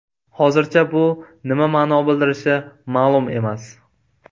Hozircha bu nima ma’no bildirishi ma’lum emas.